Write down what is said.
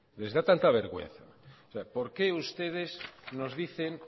por qué ustedes nos dicen